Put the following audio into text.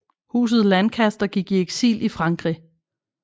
Huset Lancaster gik i eksil i Frankrig